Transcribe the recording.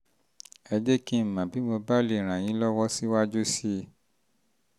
ẹ jẹ́ kí n mọ̀ bí mo bá lè ràn yín lọ́wọ́ um síwájú sí i um